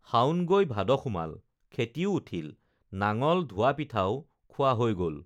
শাওণ গৈ ভাদ সোমাল খেতিও উঠিল নাঙল ধোৱা পিঠাও খোৱা হৈ গল